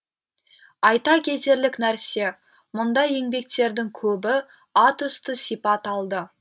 айта кетерлік нәрсе мұндай еңбектердің көбі атүсті сипат алды